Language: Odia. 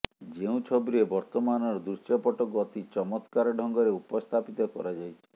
ଯେଉଁ ଛବିରେ ବର୍ତ୍ତମାନର ଦୃଶ୍ୟପଟକୁ ଅତି ଚମତ୍କାର ଢଙ୍ଗରେ ଉପସ୍ଥାପିତ କରାଯାଇଛି